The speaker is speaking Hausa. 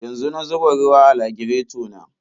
Yanzu na zuba ruwa a lagireto na.